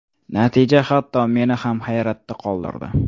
Natija hatto meni ham hayratda qoldirdi.